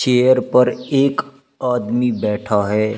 Chair पर एक आदमी बैठा है।